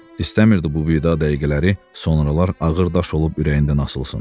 İstəmirdi bu vida dəqiqələri sonralar ağır daş olub ürəyindən asılsın.